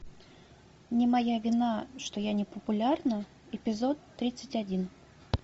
не моя вина что я не популярна эпизод тридцать один